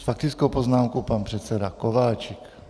S faktickou poznámkou pan předseda Kováčik.